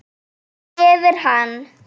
Mígur yfir hana.